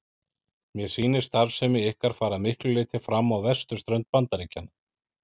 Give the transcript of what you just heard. Mér sýnist starfsemi ykkar fara að miklu leyti fram á vesturströnd Bandaríkjanna.